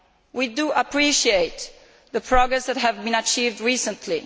We appreciate the progress that has been achieved recently.